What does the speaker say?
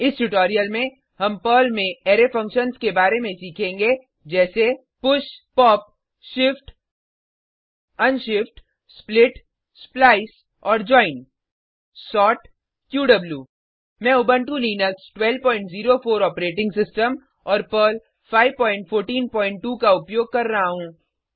इस ट्यूटोरियल में हम पर्ल में अरै फंक्शन्स के बारे में सीखेंगे जैसे 000011 000010 push pop shift unshift split splice और जोइन सोर्ट क्यू मैं उबंटु लिनक्स 1204 ऑपरेटिंग सिस्टम और पर्ल 5142 का उपयोग कर रहा हूँ